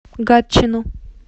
гатчину